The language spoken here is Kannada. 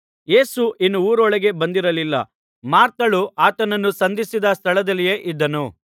ಯೇಸು ಇನ್ನೂ ಊರೊಳಗೆ ಬಂದಿರಲಿಲ್ಲ ಮಾರ್ಥಳು ಆತನನ್ನು ಸಂಧಿಸಿದ ಸ್ಥಳದಲ್ಲಿಯೇ ಇದ್ದನು